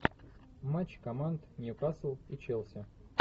матч команд ньюкасл и челси